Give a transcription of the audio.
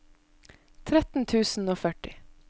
tretten tusen og førti